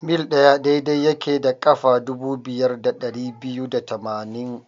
mil ɗaya daidai yake da ƙafa dubu biyar da dari biyu da tamaini.